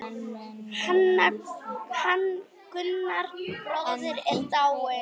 Hann Gunnar bróðir er dáinn.